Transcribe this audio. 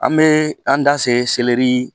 An bee an da se selɛri